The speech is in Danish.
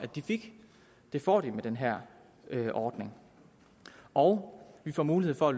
de fik det får de med den her ordning og vi får mulighed for at